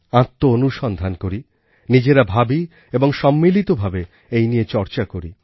আত্মঅনুসন্ধান করি নিজেরা ভাবি এবং সম্মিলিতভাবে এই নিয়ে চর্চা করি